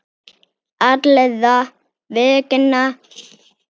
Allra vegna.